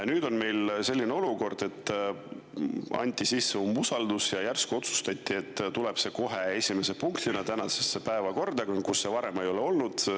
Nüüd on meil selline olukord, et anti sisse umbusaldus ja järsku otsustati, et tuleb see kohe esimese punktina tänasesse päevakorda, kus seda varem ei olnud.